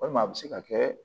Walima a bɛ se ka kɛ